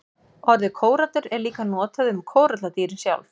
Orðið kórallur er líka notað um kóralladýrin sjálf.